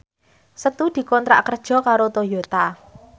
Setu dikontrak kerja karo Toyota